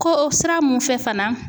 Ko o sira mun fɛ fana